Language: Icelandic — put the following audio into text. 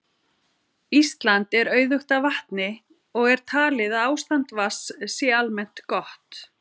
Ísland er auðugt af vatni og er talið að ástand vatns sé almennt gott.